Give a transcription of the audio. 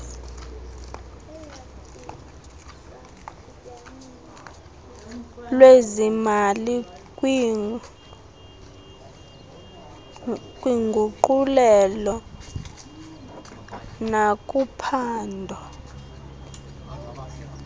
lwezimali kwiinguqulelo nakuphando